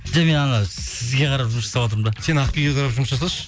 жоқ мен анау сізге қарап жұмыс жасап жатырмын да сен ақбибіге қарап жұмыс жасашы